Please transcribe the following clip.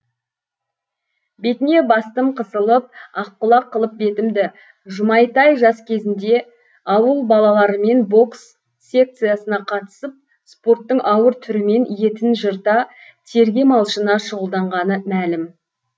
бетіне бастым қысылып аққұлақ қылып бетімді жұмайтай жас кезінде ауыл балаларымен бокс секциясына қатысып спорттың ауыр түрімен етін жырта терге малшына шұғылданғаны мәлім